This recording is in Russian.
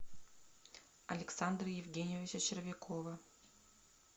александра евгеньевича червякова